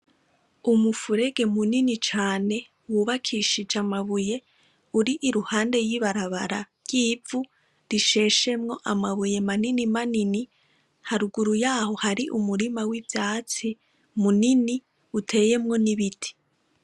Umufurege munini cane wubakishije amabuye uri iruhande y'ibarabara ry'ivu risheshemwo amabuye manini manini haruguru yaho hari umurima w'ivyatsi munini uteyemwo n'ibiti.